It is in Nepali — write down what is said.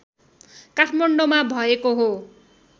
काठमाडौँमा भएको हो